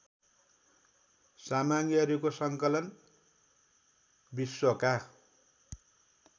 सामग्रीहरूको सङ्कलन विश्वका